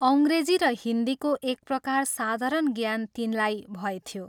अंग्रेजी र हिन्दीको एक प्रकार साधारण ज्ञान तिनलाई भएथ्यो।